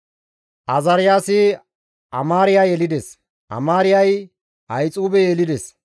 Azaariyaasi Amaariya yelides; Amaariyay Ahixuube yelides;